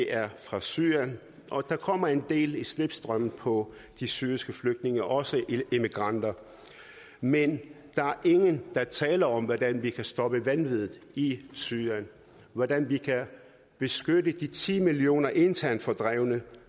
er fra syrien og der kommer en del i slipstrømmen på de syriske flygtninge også immigranter men der er ingen der taler om hvordan vi kan stoppe vanviddet i syrien hvordan vi kan beskytte de ti millioner internt fordrevne